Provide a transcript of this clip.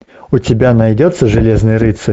у тебя найдется железный рыцарь